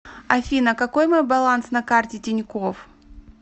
афина какой мой баланс на карте тинькофф